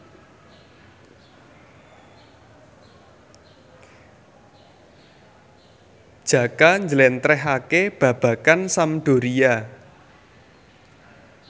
Jaka njlentrehake babagan Sampdoria